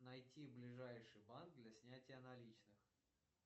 найти ближайший банк для снятия наличных